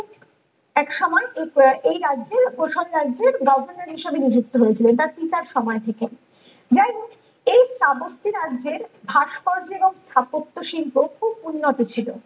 এক সময় এই ক এই রাজ্যে কৌশল রাজ্যে governor হিসেবে নিযুক্ত হয়েছিলো এ তার পিতার সময় থেকে ।যাইহোক এই চাবত্তি রাজ্যের ভাস্কর্য হোক স্থাপত্য শিল্প খুব উন্নত ছিল